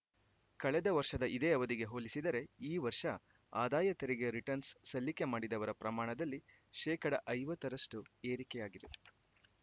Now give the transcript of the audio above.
ಕಳೆದ ವರ್ಷದ ಇದೇ ಅವಧಿಗೆ ಹೋಲಿಸಿದರೆ ಈ ವರ್ಷ ಆದಾಯ ತೆರಿಗೆ ರಿಟನ್ಸ್‌ರ್‍ ಸಲ್ಲಿಕೆ ಮಾಡಿದವರ ಪ್ರಮಾಣದಲ್ಲಿ ಶೇಕಡಾ ಐವತ್ತರಷ್ಟು ಏರಿಕೆಯಾಗಿದೆ